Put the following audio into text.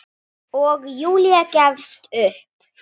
Og Júlía gefst upp.